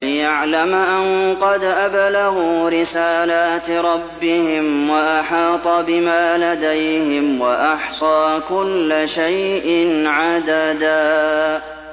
لِّيَعْلَمَ أَن قَدْ أَبْلَغُوا رِسَالَاتِ رَبِّهِمْ وَأَحَاطَ بِمَا لَدَيْهِمْ وَأَحْصَىٰ كُلَّ شَيْءٍ عَدَدًا